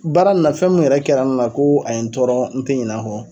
Baara in na fɛn min yɛrɛ kɛra n na ko a ye n tɔɔrɔ n te ɲinɛ a kɔ